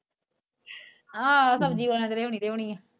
ਆਹੋ ਸਬਜੀ ਵਾਲੇ ਨੇ ਤਾ ਲਿਉਣੀ ਲਿਓਣੀ ਆ।